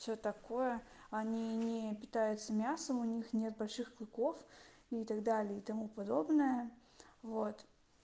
всё такое они не питаются мясом у них нет больших клыков и так далее и тому подобное вот